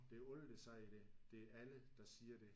Det er alle der siger det. Det er alle der siger det